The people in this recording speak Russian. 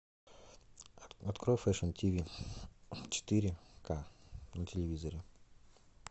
открой фэшн тиви четыре к на телевизоре